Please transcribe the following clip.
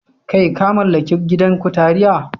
Kai! ka mallaki gidan kutaria?